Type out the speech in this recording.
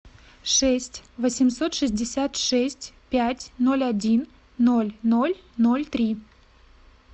шесть восемьсот шестьдесят шесть пять ноль один ноль ноль ноль три